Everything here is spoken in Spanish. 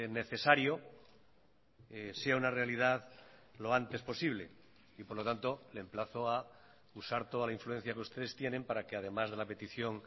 necesario sea una realidad lo antes posible y por lo tanto le emplazo a usar toda la influencia que ustedes tienen para que además de la petición